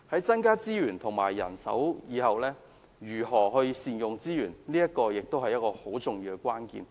增加資源及人手之後，如何善用資源亦是很重要的關鍵。